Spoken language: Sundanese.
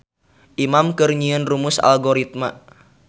Imam keur nyieun rumus algoritma